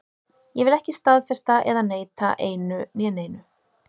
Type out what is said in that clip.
Ég vil ekki staðfesta eða neita einu né neinu.